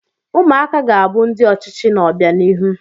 Ụmụaka ga-abụ ndị ọchịchị n'obianihu.